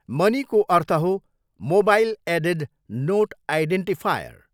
Money 'को अर्थ हो, मोबाइल एडेड नोट आइडेन्टिफायर।